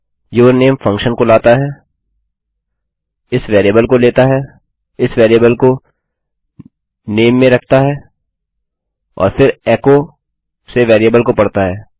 यूरनेम function को लाता है इस वेरिएबल को लेता है इस वेरिएबल को नामे में रखता है और फिर एकोसे वेरिएबल को पढ़ता है